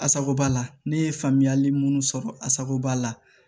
Asaco b'a la ne ye faamuyali munnu sɔrɔ asagoba la